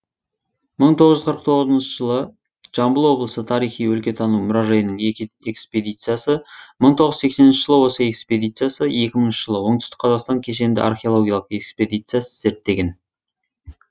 мың тоғыз жүз қырық тоғызыншы жылы жамбыл облысы тарихи өлкетану мұражайының экспедициясы мың тоғыз жүз сексенінші жылы осы экспедициясы екі мыңыншы жылы оңтүстік қазақстан кешенді археологиялық экспедициясы зерттеген